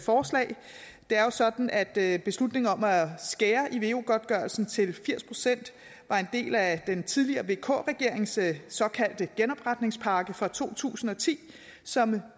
forslag det er jo sådan at beslutningen om at skære i veu godtgørelsen til firs procent var en del af den tidligere vk regerings såkaldte genopretningspakke fra to tusind og ti som